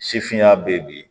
Sifinna bɛ bi